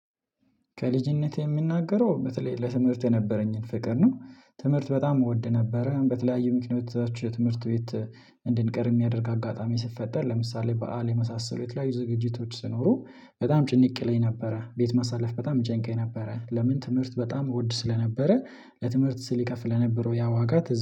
ከልጅነቴ የምናገረው በተለይ ለትምህርት የነበረኝን ፍቅር ነው። ትምህርት በጣም እወድ ነበረ በተለያዩ ምክንያቶች ትምህርት ቤት። እንድንቀር የሚያደርግ አጋጣሚ ስትፈጠር ለምሳሌ በዓል የመሳሰሉ የተለያዩ ዝግጅቶች ስኖሩ። በጣም ጭንቅለኝ ነበረ ቤት ማሳለፍ በጣም ይጨንቀኝ ነበረ። ለምን ትምህርት በጣም ወድ ስለነበረ። ለትምህርት ስል ይከፍል ለነበረው ያ ዋጋ